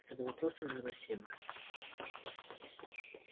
это было просто невыносимо